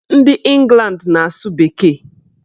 Ndị Ịngland na-asụ bekee.